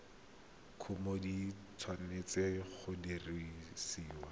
kumo di tshwanetse go dirisiwa